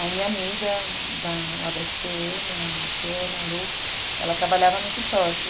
Aí minha amiga lá da esse pê eme, a Luciana, a Lu, ela trabalhava no Quixote.